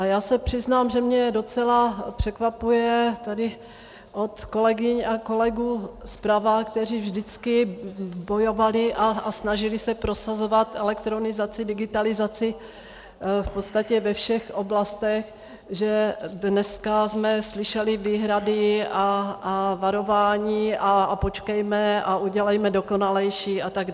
A já se přiznám, že mě docela překvapuje tady od kolegyň a kolegů zprava, kteří vždycky bojovali a snažili se prosazovat elektronizaci, digitalizaci v podstatě ve všech oblastech, že dneska jsme slyšeli výhrady a varování a počkejme a udělejme dokonalejší atd.